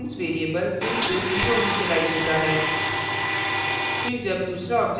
और यहाँ instance variable फिर से 0 इनिशिलाइज होता है